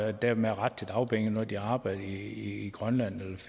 har dermed ret til dagpenge når de arbejder i grønland